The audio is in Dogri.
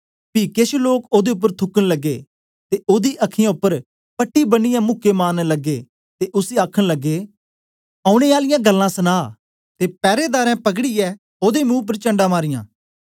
पी केछ लोक ओदे उपर थूकन लगे ते ओदी अखीयाँ उपर पट्टी बनियै मुके मारन लगे ते उसी आखन लगे औने आली गल्लां सना ते पैरेदार पकड़ीऐ ओदे मुंह उपर चंढा मारीयां